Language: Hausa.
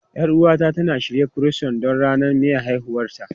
Yar uwata tana shirya Croissant don ranar maye haihuwarta.